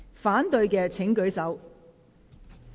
反對的請舉手。